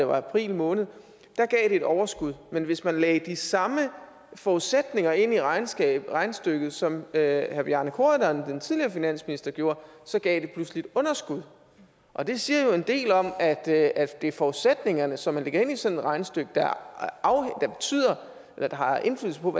var i april måned gav det et overskud men hvis man lagde de samme forudsætninger ind i regnestykket regnestykket som herre bjarne corydon den tidligere finansminister gjorde så gav det pludselig et underskud og det siger jo en del om at at det er forudsætningerne som man lægger ind i sådan et regnestykke der har indflydelse på